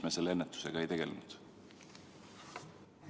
Miks me ennetusega ei tegelenud?